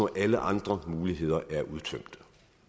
alle andre muligheder er udtømt